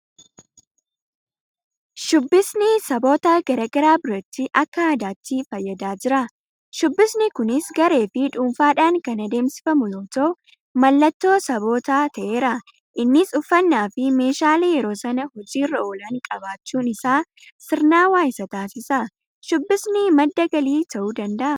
Shubbisni saboota garaa garaa biratti akka aadaatti fayyadaa jira. Shuubbisni kunis gareefi dhuunfaadhaan kan adeemsifamu yoota'u; Mallattoo sabootaas ta'eera. Innis uffannaafi meeshaalee yeroo sana hojii irra oolan qabaachuun isaa sirnaawaa isa taasisa. Shubbisni madda galii ta'uu danda'aa?